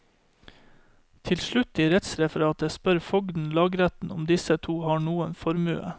Til slutt i rettsreferatet spør fogden lagretten om disse to har noen formue.